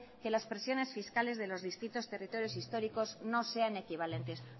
que las presiones fiscales de los distintos territorios históricos no sean equivalentes